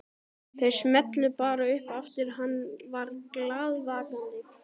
Þau smullu bara upp aftur hann var glaðvakandi.